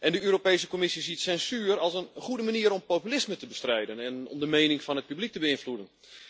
De Europese Commissie ziet censuur als een goede manier om populisme te bestrijden en om de mening van het publiek te beïnvloeden.